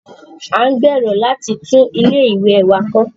À ń gbèrò láti tún ilé ìwẹ̀ wá kọ́